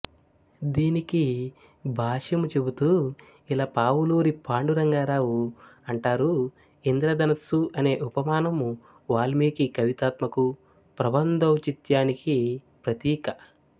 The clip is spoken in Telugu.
దీనికి భాష్యము చెబుతూ ఇలపావులూరి పాండు రంగారావు అంటారుఇంధ్రధనస్సు అనే ఉపమానము వాల్మీకి కవితాత్మకు ప్రబంధౌచిత్యానికి ప్రతీక